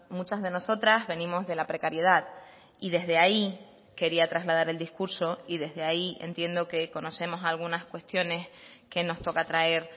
muchas de nosotras venimos de la precariedad y desde ahí quería trasladar el discurso y desde ahí entiendo que conocemos algunas cuestiones que nos toca traer